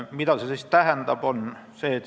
Mida see tähendab?